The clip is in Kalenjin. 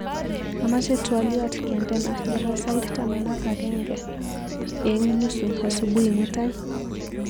Amache twoliot kendena nebo sait taman ak ageng ak nusu asubui mutai